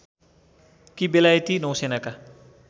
कि बेलायती नौसेनाका